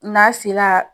N'a sela